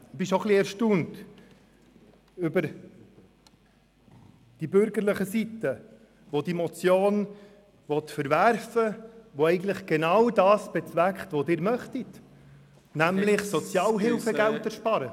Ich bin schon ein wenig erstaunt über die bürgerliche Seite, die diese Motion verwerfen will, die eigentlich genau das bezweckt, was Sie möchten, nämlich Sozialhilfegelder sparen.